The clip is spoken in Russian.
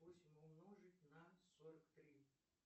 восемь умножить на сорок три